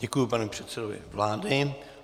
Děkuji panu předsedovi vlády.